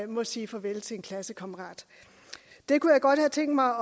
må sige farvel til en klassekammerat det kunne jeg godt have tænkt mig